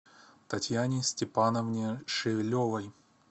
татьяне степановне шевелевой